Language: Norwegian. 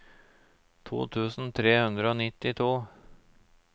to tusen tre hundre og nittito